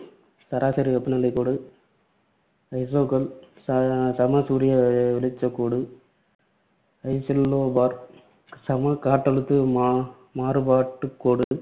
சராசரி வெப்பநிலைக்கோடு, ஐசோகெல், சம சூரிய வெளிச்சக் கோடு, ஐசெல்லோபார், சம காற்றழுத்த மா~ மாறுபாட்டுக் கோடு,